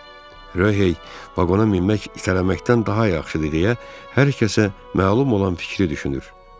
Röhey "Vaqona minmək itələməkdən daha yaxşıdır" deyə hər kəsə məlum olan fikri düşünür.